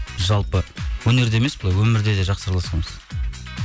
жалпы өнерде емес былай өмірде де жақсы араласамыз